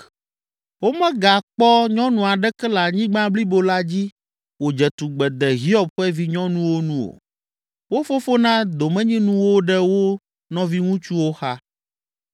Womegakpɔ nyɔnu aɖeke le anyigba blibo la dzi wòdze tugbe de Hiob ƒe vinyɔnuwo nu o. Wo fofo na domenyinu wo ɖe wo nɔviŋutsuwo xa.